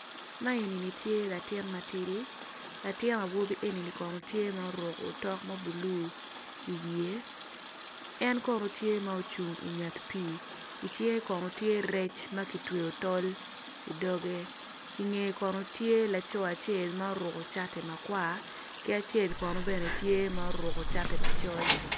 Man eni kono tye latin ma tidi latin awobi eni oruko otok ma bulu i wiye, en kono tye ma ocung i nget pii i cinge kono tye rec ma kitweyo i tol i doge i ngeye kono tye laco acel ma oruko cati makwar ki acel kono tye ma oruko cati macol.